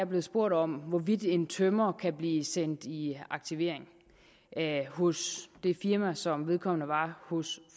blevet spurgt om hvorvidt en tømrer kan blive sendt i aktivering hos det firma som vedkommende var hos